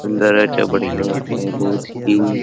सुंदर अच्छा बढ़िया है बहुत ही --